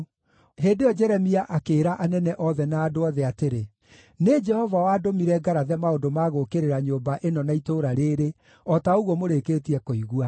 Hĩndĩ ĩyo Jeremia akĩĩra anene othe na andũ othe atĩrĩ: “Nĩ Jehova wandũmire ngarathe maũndũ ma gũũkĩrĩra nyũmba ĩno na itũũra rĩĩrĩ, o ta ũguo mũrĩkĩtie kũigua.